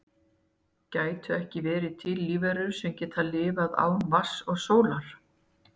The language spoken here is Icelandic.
Gætu ekki verið til lífverur sem geta lifað án vatns og sólar?